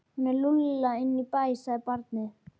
Hann er lúlla inn í bæ, sagði barnið.